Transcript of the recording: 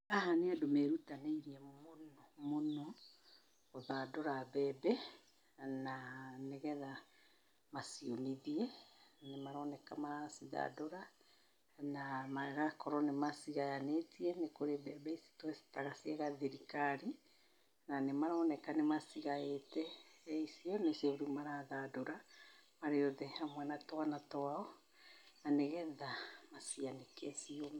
Haha nĩ andũ merutanĩirie mũno mũno, gũthandũra mbembe, na nĩgetha maciũmithie, nĩmaroneka maracĩthandũra, na magakorwo nĩ macĩgayanĩtie nĩ kũrĩ mbembe ici tuĩtaga cia gathirikari na nĩmaroneka nĩmacigaĩte rĩu icio nĩcio rĩu marathandũra marĩ othe hamwe na twana twao, na nĩgetha macianĩke ciũme.